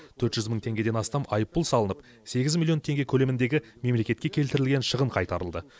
төрт жүз мың теңгеден астам айыппұл салынып сегіз миллион теңге көлеміндегі мемлекетке келтірілген шығын қайтарылды